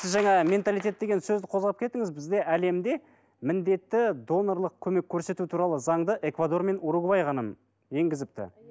сіз жаңа менталитет деген сөзді қозғап кеттіңіз бізде әлемде міндетті донорлық көмек көрсету туралы заңды эквадор мен уругвай ғана енгізіпті